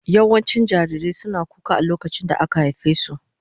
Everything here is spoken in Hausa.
Yawancin jarirai suna kuka a lokacin da aka haife su.